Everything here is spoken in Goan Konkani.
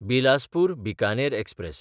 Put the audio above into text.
बिलासपूर–बिकानेर एक्सप्रॅस